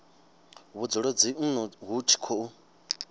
vhudzulo dzinnu hu tshi khou